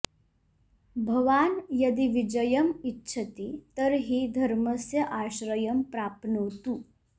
भवान् यदि विजयम् इच्छति तर्हि धर्मस्य आश्रयं प्राप्नोतु